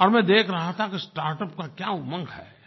और मैं देख रहा था कि स्टार्टअप का क्या उमंग है